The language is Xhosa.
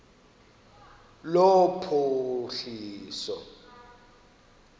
lophuhliso